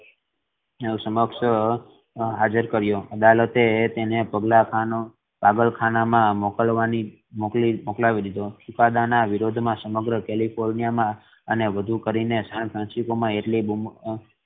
ની સમક્ષ હાજર કર્યો અદાલત એ તેને ભાગલા ખાનો પાગલકાના મા મોકલવાની મોકલી દીધો ચુકાદા ના વિરોધ મા સમગ્ર કેલિફોર્નિયા અને વધુ કરીને સાન ફ્રાન્સિસકો મા એટલી બુમા બૂમ